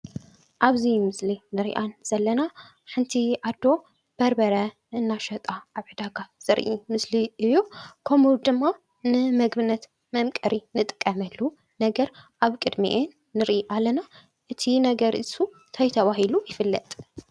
ኣብዚ ምስሊ እንሪኣ ዘለና ሓንቲ ኣዶ በርበረ እናሸጣ ኣብ ዕዳጋ ዘርኢ ምስሊ እዩ። ከምኡ ድማ ንምግብነት መምቀሪ እንጥቀሉ ነገር ኣብ ቅድሚኤን ንርኢ ኣለና። እቲ ነገር እሱ እንታይ ተባሂሉ ይፍለጥ?